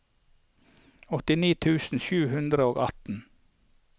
åttini tusen sju hundre og atten